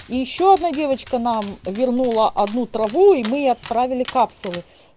и ещё одна девочка нам вернула одну траву и мы ей отправили капсулы